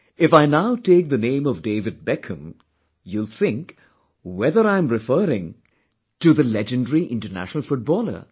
If I now take the name of David Beckham, you will think whether I'm referring to the legendary International Footballer